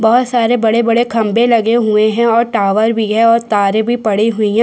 बहोत सारे बड़े-बड़े खम्बे लगे हुए है और टावर भी है और तारे भी पड़ी हुई है।